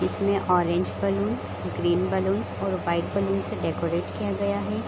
इसमें orange balloon green balloon और white balloon से डेकोरेट किया गया है ।